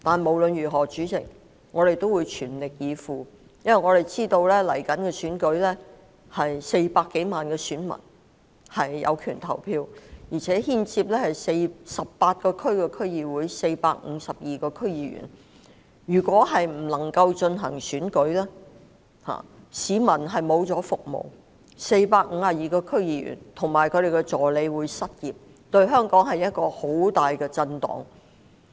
儘管如此，主席，我們也會全力以赴，因為我們知道即將到來的選舉涉及400多萬具有權投票的選民、18個選區的區議會及452名區議員，如果未能進行選舉，市民便沒有區議員為其服務，而452名區議員及其助理將會失業，這將會為香港造成十分巨大的震盪。